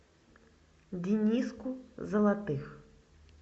дениску золотых